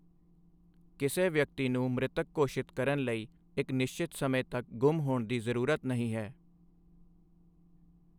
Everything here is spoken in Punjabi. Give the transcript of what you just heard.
ਕਿਸੇ ਵਿਅਕਤੀ ਨੂੰ ਮ੍ਰਿਤਕ ਘੋਸ਼ਿਤ ਕਰਨ ਲਈ ਇੱਕ ਨਿਸ਼ਚਿਤ ਸਮੇਂ ਤੱਕ ਗੁੰਮ ਹੋਣ ਦੀ ਜ਼ਰੂਰਤ ਨਹੀਂ ਹੈ।